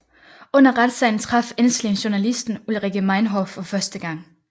Under retssagen traf Ensslin journalisten Ulrike Meinhof for første gang